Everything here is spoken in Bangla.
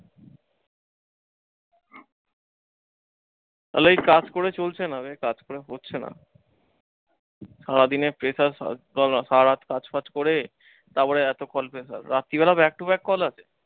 তালে এই কাজ করে চলছে না, এই কাজ করে হচ্ছে না। সারাদিনের pressure সারা রাত কাজ ফাজ করে তারপরে এতক্ষণ রাত্রিবেলা back to back call আসে।